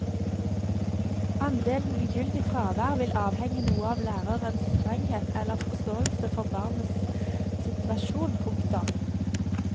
Andelen ugyldig fravær vil avhenge noe av lærerens strenghet eller forståelse for barnas situasjon. punktum